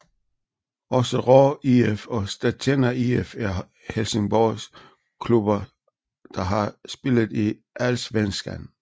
Også Råå IF og Stattena IF er Helsingborgsklubber der har spillet i Allsvenskan